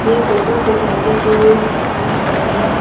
ये photo society के बाहर बने--